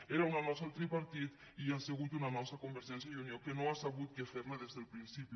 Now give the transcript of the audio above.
era una nosa al tripartit i ha sigut una nosa a convergència i unió que no ha sabut què fer ne des del principi